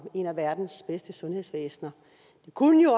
et af verdens bedste sundhedsvæsener det kunne jo